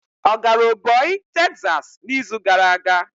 Ọ gara oboy Tekzas n'izu gara aga?